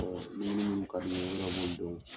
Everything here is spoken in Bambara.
ni yiri minnu ka di i ye i yɛrɛ b'o dɔn.